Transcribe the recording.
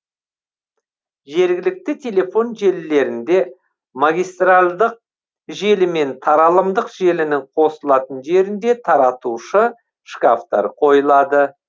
жергілікті телефон желілерінде магистральдық желімен таралымдық желінің қосылатын жерінде таратушы шкафтар қойылады